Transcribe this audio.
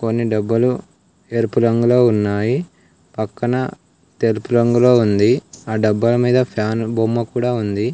కొన్ని డబ్బులు ఎరుపు రంగులో ఉన్నాయి పక్కన తెలుపు రంగులో ఉంది ఆ డబ్బాల మీద ఫ్యాన్ బొమ్మ కూడా ఉంది.